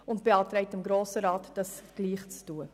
Sie beantragt dem Grossen Rat, es ihr gleichzutun.